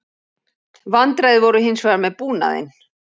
Vandræði voru hins vegar með búnaðinn